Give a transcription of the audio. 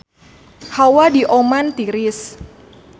Hawa di Oman tiris